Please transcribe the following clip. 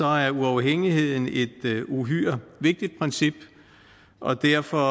er uafhængigheden et uhyre vigtigt princip og derfor